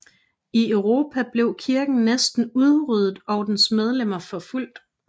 I Europa blev kirken næsten udryddet og dens medlemmer forfulgt